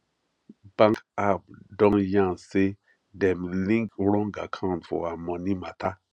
bank app don yan say dem link wrong account to her money matter